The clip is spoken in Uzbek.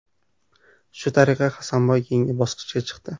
Shu tariqa Hasanboy keyingi bosqichga chiqdi.